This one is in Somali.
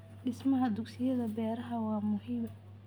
Dhismaha dugsiyada beeraha waa muhiim.